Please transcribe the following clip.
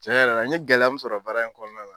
Cɛn yɛrɛ la n ye gɛlɛya mun sɔrɔ baara in kɔnɔna la